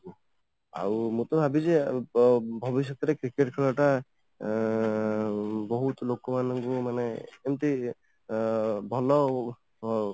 ଆଉ ମୁଁ ତ ଭାବିଲି ସେଇୟା ଭବିଷ୍ୟତ ରେ cricket ଖେଳ ଟା ଅଂ ବହୁତ ଲୋକ ମାନଙ୍କୁ ମାନେ ଏମିତି ଅଂ ଭଲ